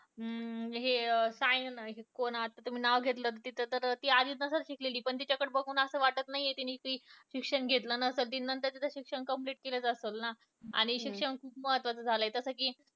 अं हे साय कोण आहात तुम्ही नाव घेतले तिचं ती आधी नसल शिकलेली पण तिच्याकडं बघून वाटत नाही की तिने शिक्षण घेतलं नसल तिनं नंतर शिक्षण complete केलंच असल ना आणि शिक्षण खूप महत्वाचं झालंय